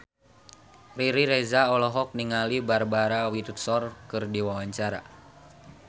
Riri Reza olohok ningali Barbara Windsor keur diwawancara